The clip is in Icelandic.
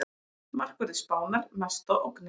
Markverðir Spánar mesta ógnin